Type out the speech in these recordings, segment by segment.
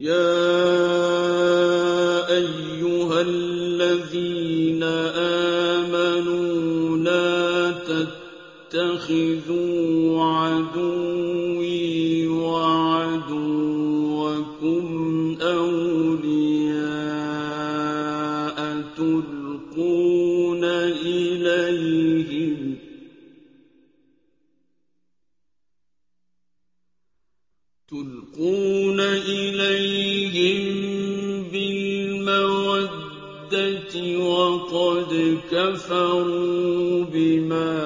يَا أَيُّهَا الَّذِينَ آمَنُوا لَا تَتَّخِذُوا عَدُوِّي وَعَدُوَّكُمْ أَوْلِيَاءَ تُلْقُونَ إِلَيْهِم بِالْمَوَدَّةِ وَقَدْ كَفَرُوا بِمَا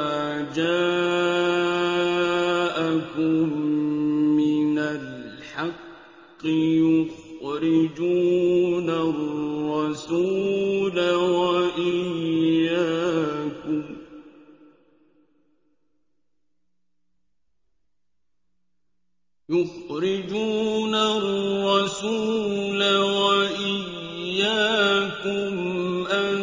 جَاءَكُم مِّنَ الْحَقِّ يُخْرِجُونَ الرَّسُولَ وَإِيَّاكُمْ ۙ أَن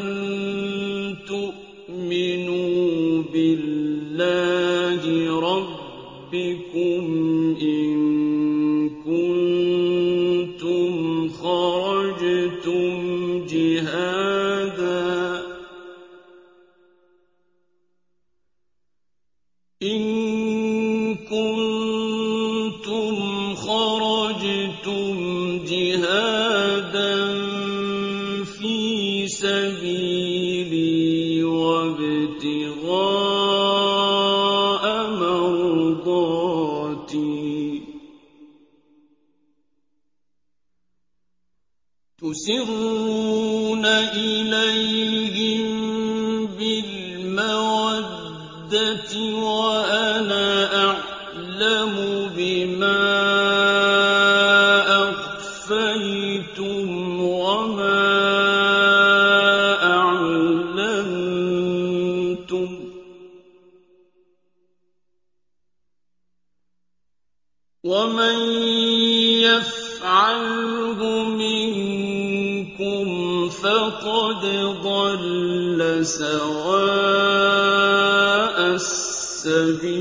تُؤْمِنُوا بِاللَّهِ رَبِّكُمْ إِن كُنتُمْ خَرَجْتُمْ جِهَادًا فِي سَبِيلِي وَابْتِغَاءَ مَرْضَاتِي ۚ تُسِرُّونَ إِلَيْهِم بِالْمَوَدَّةِ وَأَنَا أَعْلَمُ بِمَا أَخْفَيْتُمْ وَمَا أَعْلَنتُمْ ۚ وَمَن يَفْعَلْهُ مِنكُمْ فَقَدْ ضَلَّ سَوَاءَ السَّبِيلِ